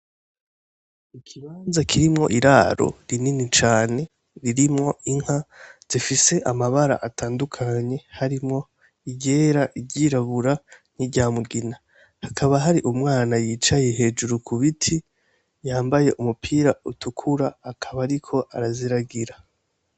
Ikibanza kirimwo iraro rinini cane ririmwo inka zifise amabara atandukanye harimwo iyera iry'irabura ni rya'mugina hakaba hari umwana yicaye hejuru ku biti yambaye umupira utukura akaba ari ko araziragira.